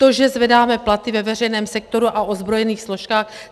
To, že zvedáme platy ve veřejném sektoru a ozbrojených složkách?